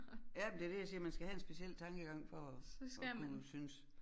Ja men det det jeg siger man skal have en speciel tankegang for at at kunne synes